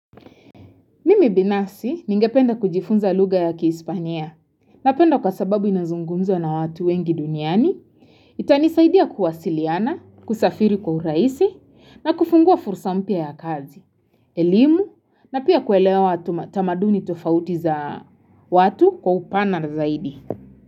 Mimi binafsi ningependa kujifunza lugha ya kiispania napenda kwa sababu inazungumzwa na watu wengi duniani, itanisaidia kuwasiliana, kusafiri kwa uraisi na kufungua fursa mpya ya kazi, elimu na pia kuelewa tamaduni tofauti za watu kwa upana zaidi.